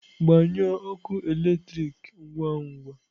Gbanyụọ ọkụ eletrik ngwa ngwa!